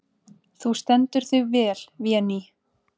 Þú stendur þig vel, Véný!